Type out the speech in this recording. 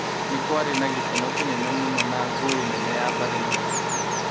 nĩ kwarĩ na gĩkeno kĩnene mũno na ngũĩ nene ya mbarĩ na ũteti.